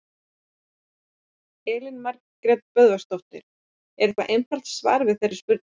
Elín Margrét Böðvarsdóttir: Er eitthvað einfalt svar við þeirri spurningu?